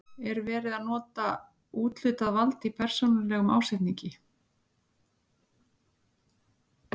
Er verið að nota úthlutað vald í persónulegum ásetningi?